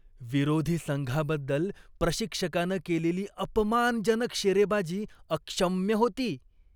विरोधी संघाबद्दल प्रशिक्षकानं केलेली अपमानजनक शेरेबाजी अक्षम्य होती.